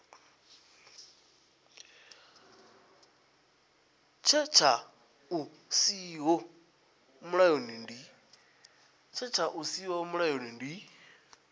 setsha hu siho mulayoni ndi